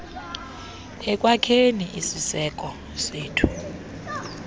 ekwakheni isiseko sethu